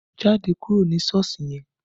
Jáde kúrò ní Sọ́ọ̀sì yẹn!